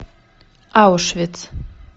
аушвиц